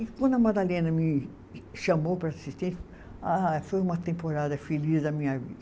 E quando a Madalena me chamou para assistência, ah foi uma temporada feliz da minha vida.